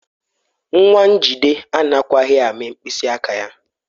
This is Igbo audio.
Nwa Njide anakwaghị amị mkpịsị aka ya.